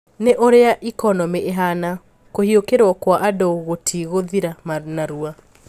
Na ũria ikonomi ihana, kũhiokĩrwo kwa andũ gũtigũthira narua.